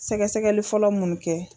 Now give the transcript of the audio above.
Sɛgɛsɛgɛli fɔlɔ mun kɛ.